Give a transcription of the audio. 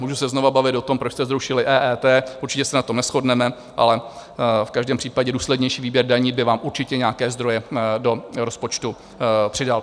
Můžu se znovu bavit o tom, proč jste zrušili EET, určitě se na tom neshodneme, ale v každém případě důslednější výběr daní by vám určitě nějaké zdroje do rozpočtu přidal.